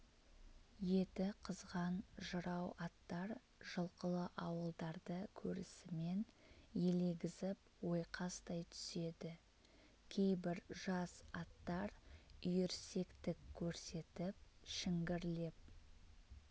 еті қызған жарау аттар жылқылы ауылдарды көрісімен елегізіп ойқастай түседі кейбір жас аттар үйірсектік көрсетіп шіңгірлеп